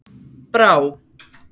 Brá